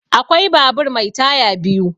Akwai babur mai taya biyu.